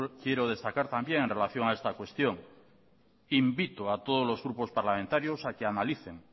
quiero desatacar también en relación a esta cuestión invito a todos los grupos parlamentarios a que analicen